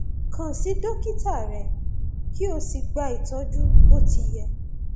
kàn sí dókítà rẹ kí o sì gba ìtọjú bó ti yẹ